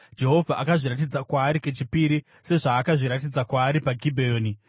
Jehovha akazviratidza kwaari kechipiri, sezvaakazviratidza kwaari paGibheoni.